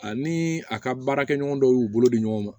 Ani a ka baarakɛɲɔgɔn dɔw y'u bolo di ɲɔgɔn ma